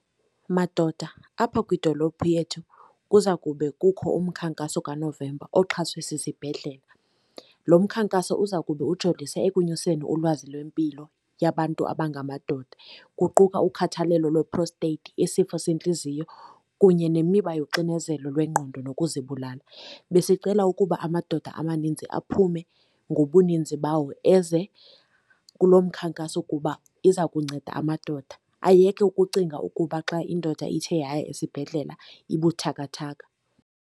Madoda, apha kwidolophu yethu kuza kube kukho umkhankaso kaNovemba oxhaswe sisibhedlela. Lo mkhankaso uzakube ujolise ekunyuseni ulwazi lwempilo yabantu abangamadoda, kuquka ukhathalelo lwe-prostate, isifo sentliziyo, kunye nemiba yoxinezelo lwengqondo nokuzibulala. Besicela ukuba amadoda amaninzi aphume ngobuninzi bawo eze kulo mkhankaso kuba iza kunceda amadoda ayeke ukucinga ukuba xa indoda ithe yaya esibhedlela ibuthakathaka.